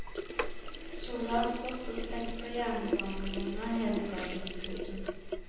Sola har stått og stekt på jernbanevogna hele dagen. punktum